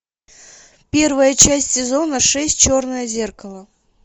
первая часть сезона шесть черное зеркало